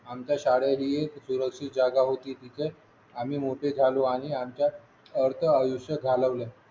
आमची शाळा ही सुरक्षित जागा होती तिथे आम्ही मोठे झालो आणि आमच्या अर्धा आयुष्य घालवलं